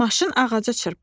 Maşın ağaca çırpıldı.